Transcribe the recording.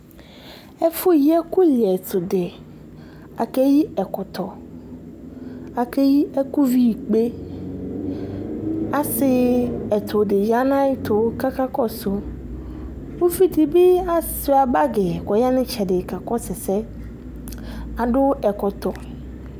Ɛfʋyi ɛkʋ lɩɛtʋdɩ, akeyɩ ɛkɔtɔ, akeyɩ ɛkʋ vi ikpe, asɩ ɛtʋdɩ yanʋ ayʋ ɛtʋ, kʋ akakɔsʋ. Ʋvidibi asuia bagi kʋ ɔya nʋ itsɛdɩ kakɔsʋ ɛsɛ, adʋ ɛkɔtɔ.